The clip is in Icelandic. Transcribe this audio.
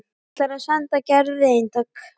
Ætlar að senda Gerði eintak.